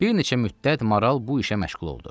Bir neçə müddət maral bu işə məşğul oldu.